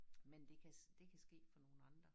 Men det kan det kan ske for nogen andre